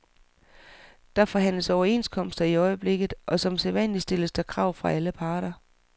Der forhandles overenskomster i øjeblikket, og som sædvanlig stilles der krav fra alle parter.